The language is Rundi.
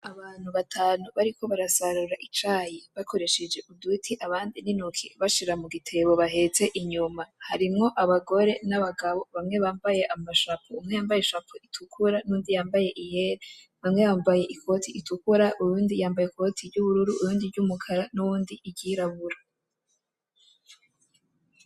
Abantu batanu bariko barasarura icayi, bakoresheje uduti abandi n'intoki, bashira mu gitebo bahetse inyuma. Harimwo abagore n’abagabo, bamwe bambaye amashapo, umwe yambaye ishapo itukura n’undi yambaye iyera. Bamwe bambaye ikoti itukura, uyundi yambaye ikoti ry'ubururu, uyundi ry'umukara, n'uwundi iryirabura.